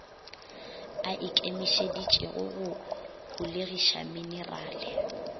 a ikemišeditšego go holegiša menerale